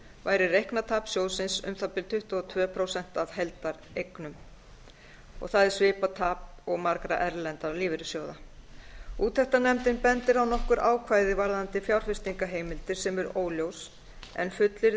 væri reiknað tap sjóðsins um það bil tuttugu og tvö prósent af heildareignum það er svipað tap og margra erlendra lífeyrissjóða úttektarnefndin bendir á nokkur ákvæði varðandi fjárfestingarheimildir sem er óljós en fullyrðir